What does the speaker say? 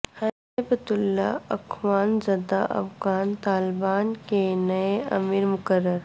ہیبت اللہ اخونزادہ افغان طالبان کے نئے امیر مقرر